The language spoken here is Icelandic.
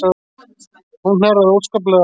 Hún hnerraði óskaplega.